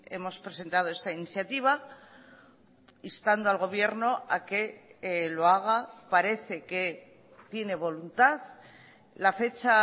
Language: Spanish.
hemos presentado esta iniciativa instando al gobierno a que lo haga parece que tiene voluntad la fecha